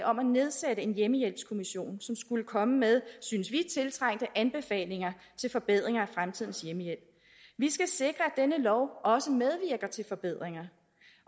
om at nedsætte en hjemmehjælpskommission som skulle komme med synes vi tiltrængte anbefalinger til forbedringer af fremtidens hjemmehjælp vi skal sikre at denne lov også medvirker til forbedringer